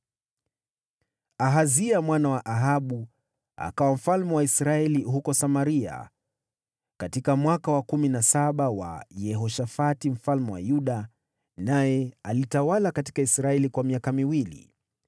Ahazia mwana wa Ahabu akawa mfalme wa Israeli huko Samaria katika mwaka wa kumi na saba wa Yehoshafati mfalme wa Yuda, naye alitawala katika Israeli kwa miaka miwili.